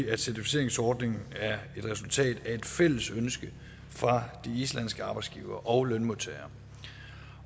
at certificeringsordningen er et resultat af et fælles ønske fra de islandske arbejdsgivere og lønmodtagere